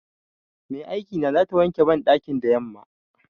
Mai aikina zata wanke banɗakin da yamma.